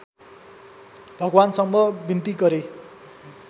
भगवानसँग विन्ती गरे